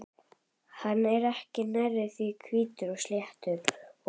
Hann er ekki nærri því eins hvítur og sléttur og